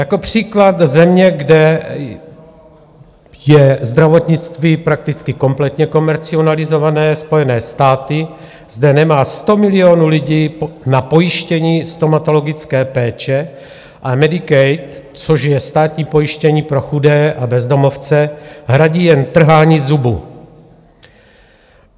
Jako příklad země, kde je zdravotnictví prakticky kompletně komercializované, Spojené státy, zde nemá 100 milionů lidí na pojištění stomatologické péče a Medicaid, což je státní pojištění pro chudé a bezdomovce, hradí jen trhání zubu.